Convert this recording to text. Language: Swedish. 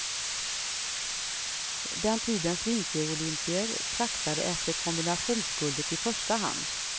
Den tidens vinterolympier traktade efter kombinationsguldet i första hand.